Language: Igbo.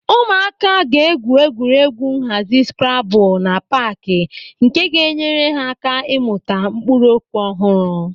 Ụmụaka ga-egwú egwuregwu nhazi skrabul na paaki nke ga-enyere ha aka ịmụta mkpụrụ okwu ọhụrụ.